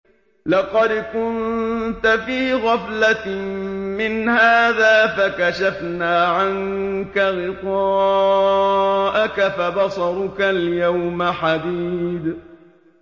لَّقَدْ كُنتَ فِي غَفْلَةٍ مِّنْ هَٰذَا فَكَشَفْنَا عَنكَ غِطَاءَكَ فَبَصَرُكَ الْيَوْمَ حَدِيدٌ